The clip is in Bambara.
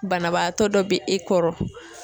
Banabaatɔ dɔ bɛ e kɔrɔ.